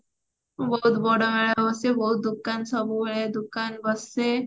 ବହୁତ୍ଵ ବଡ ମେଳା ଅବଶ୍ୟ ବହୁତ ଦୋକାନ ସବୁ ହୁଏ ଦୋକାନ ବସେ